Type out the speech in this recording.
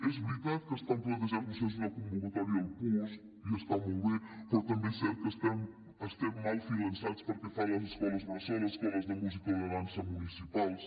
és veritat que estan plantejant vostès una convocatòria del puos i està molt bé però també és cert que estem mal finançats pel que fa a les escoles bressol escoles de música o de dansa municipals